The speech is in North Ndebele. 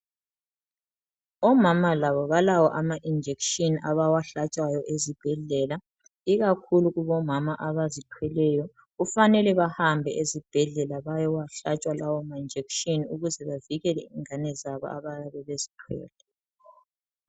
Omama labo balawo ama injection abawahlatshwayo ezibhedlela ikakhulu kubomama abazithweleyo kufanele bahambe ezibhedlela bayowahlatshwa lawo ma injection ukuze bavikele ingane zabo abayabe bezithwele.